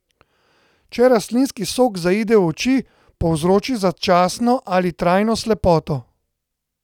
Če rastlinski sok zaide v oči, povzroči začasno ali trajno slepoto.